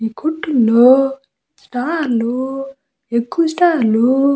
ఈ కొట్టుల్లో స్టార్ లు ఎక్కువ స్టార్ లు --